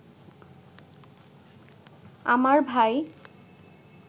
আমার ভাই